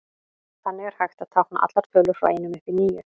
Þannig er hægt að tákna allar tölur frá einum upp í níu.